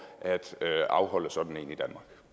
at afholde sådan